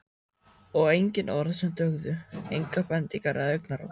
Og engin orð sem dugðu, engar bendingar eða augnaráð.